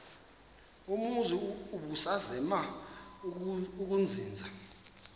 umzi ubusazema ukuzinza